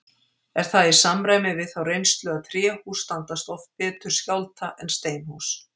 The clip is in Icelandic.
Er það í samræmi við þá reynslu að tréhús standast oft betur skjálfta en steinhús.